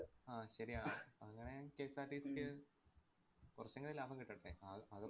അഹ് ശരിയാണ്. അങ്ങനെ KSRTC ക്ക് കൊറച്ചെങ്കിലും ലാഭം കിട്ടട്ടെ. ആഹ് അതും